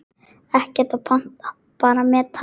Ekkert að panta, bara mæta!